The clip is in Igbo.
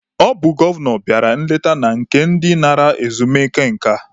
Ọ bụ gọvanọ bịara nleta na nke ndị nara ezumike nka.